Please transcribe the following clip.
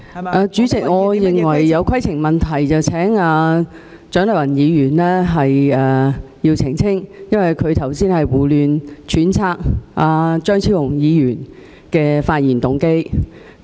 代理主席，我有規程問題，請蔣麗芸議員澄清，因為她剛才胡亂揣測張超雄議員的發言動機。